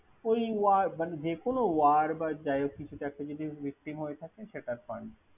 ওই যেকোন ওয়ার বা যাইহোক কিছুতে একটা যদি Victim হয়ে থাকে সেটার Fund ।